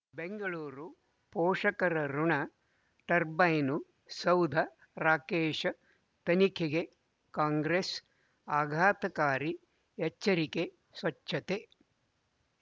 ಬೆಂಗಳೂರು ಪೋಷಕರಋಣ ಟರ್ಬೈನು ಸೌಧ ರಾಕೇಶ್ ತನಿಖೆಗೆ ಕಾಂಗ್ರೆಸ್ ಆಘಾತಕಾರಿ ಎಚ್ಚರಿಕೆ ಸ್ವಚ್ಛತೆ